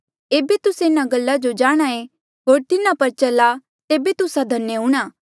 एेबे तुस्से इन्हा गल्ला जो जाणहां ऐें होर तिन्हा पर चला तेबे तुस्सा धन्य हूंणां